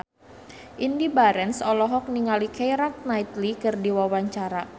Indy Barens olohok ningali Keira Knightley keur diwawancara